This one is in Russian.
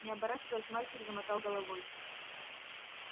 не оборачиваясь мальчик замотал головой